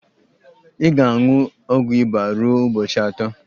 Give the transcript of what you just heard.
Ị ga-aṅụ ọgwụ ịba ruo ụbọchị atọ